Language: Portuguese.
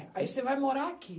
Aí, você vai morar aqui.